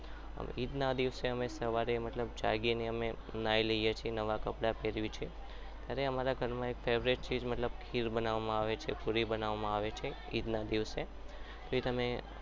ઈદના દિવસે અમે સવારે જાગીએ છીએ નાયલીએ છીએ નવા કપડાં પહેરીએ છીએ અને અમારા ઘરમાં એક favourite ચીજ છે જ ઘેર બનાવવામાં આવે છે ઇદના દિવસે